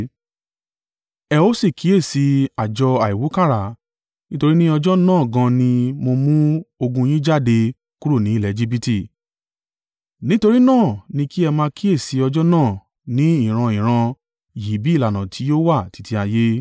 “Ẹ ó sì kíyèsí àjọ àìwúkàrà, nítorí ní ọjọ́ náà gan an ni mo mú ogun yín jáde kúrò ni ilẹ̀ Ejibiti. Nítorí náà ni kí ẹ máa kíyèsi ọjọ́ náà ní ìran-ìran yín bí ìlànà tí yóò wà títí ayé.